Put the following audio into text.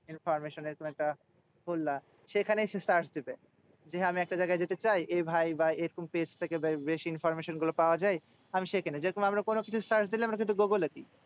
Information এর তুমি একটা খুললা। সেখানেই সে search দিবে। যে হ্যাঁ আমি একটা জায়গায় যেতে চাই এ ভাই এরকম page থেকে basic information গুলো পাওয়া যায়। আমি সেখেনে, যেরকম আমরা কোনোকিছু search দিলাম আমরা কিন্তু গুগলে দিই।